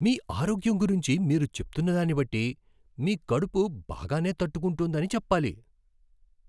మీ ఆరోగ్యం గురించి మీరు చెప్తున్న దాన్ని బట్టి మీ కడుపు బాగానే తట్టుకుంటోందని చెప్పాలి.